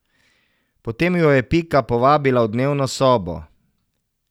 Potem ju je Pika povabila v dnevno sobo.